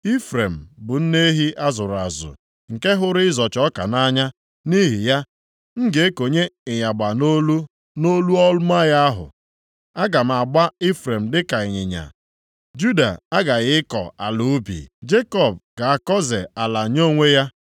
Ifrem bụ nne ehi a zụrụ azụ nke hụrụ ịzọcha ọka nʼanya, nʼihi ya, M ga-ekonye ịyagba nʼolu nʼolu ọma ya ahụ. Aga m agba Ifrem dịka ịnyịnya, Juda aghaghị ịkọ ala ubi Jekọb ga-akọze ala nye onwe ya.